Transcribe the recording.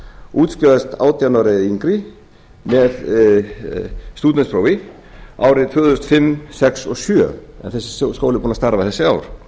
útskrifast átján ára eða yngri með stúdentsprófi árið tvö þúsund og fimm tvö þúsund og sex og tvö þúsund og sjö að þessi skóli er búinn að starfa þessi ár